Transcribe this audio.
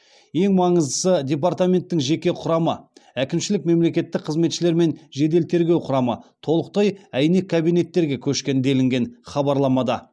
ең маңыздысы департаменттің жеке құрамы әкімшілік мемлекеттік қызметшілер мен жедел тергеу құрамы толықтай әйнек кабинеттерге көшкен делінген хабарламада